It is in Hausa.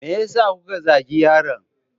Me yasa kuka zagin yaron?